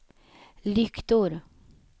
lyktor